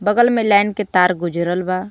बगल में लाइन के तार गुजरल बा.